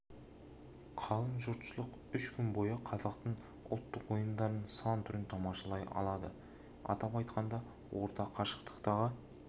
қалың жұртшылық үш күн бойы қазақтың ұлттық ойындарының сан түрін тамашалай алады атап айтқанда орта қашықтықтағы